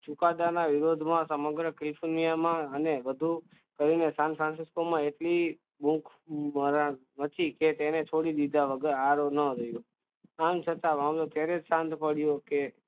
ચુકાદામાં વિરોધમાં સમગ્ર અને વધુ કરીને સાંજ સાંજે કે તેને છોડી દીધા વગર આવવાનું કે